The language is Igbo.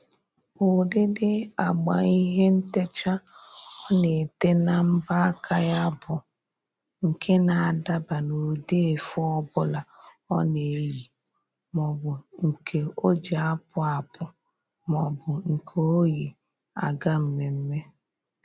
Ụdịdị agba ihe ntecha ọ na-ete na mbọ aka ya bụ nke na-adaba n'ụdị efe ọbụla ọ na-eyi. Maọbụ nke o ji apụ apụ maọbụ nke o yi aga mmemme